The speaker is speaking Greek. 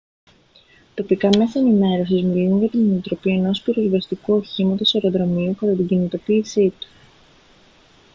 τοπικά μέσα ενημέρωσης μιλούν για την ανατροπή ενός πυροσβεστικού οχήματος αεροδρομίου κατά την κινητοποίησή του